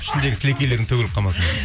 ішіндегі сілекейлерің төгіліп қалмасын